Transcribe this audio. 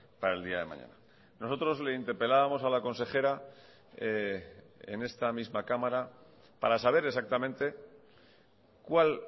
para el día de mañana nosotros le interpelábamos a la consejera en esta misma cámara para saber exactamente cuál